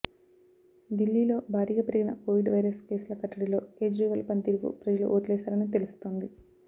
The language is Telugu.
ఢిల్లీలో భారీగా పెరిగిన కోవిడ్ వైరస్ కేసుల కట్టడిలో కేజ్రీవాల్ పనితీరుకు ప్రజలు ఓట్లేశారని తెలుస్తోంది